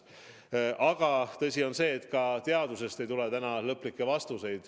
Aga tõsi on see, et ka teadusest ei tule täna lõplikke vastuseid.